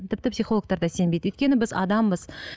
тіпті психологтарда сенбейді өйткені біз адамбыз